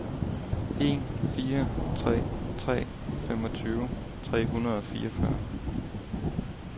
en fire tre tre femogtyve tre hundrede og fireogfyrre